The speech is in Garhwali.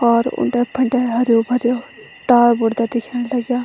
और उंडे-फंडे हरु-भरू टावर बूड़ते दिखेंण लग्याँ।